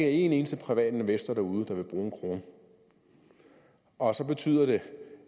en eneste privat investor derude der vil bruge en krone og så betyder det